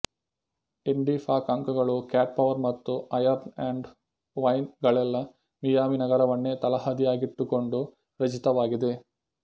Indi folk ಅಂಕಗಳು Cat Power ಮತ್ತು Iron and Wine ಗಳೆಲ್ಲ ಮಿಯಾಮಿ ನಗರವನ್ನೇ ತಳಹದಿಯಾಗಿಟ್ಟುಕೊಂಡು ರಚಿತವಾಗಿವೆ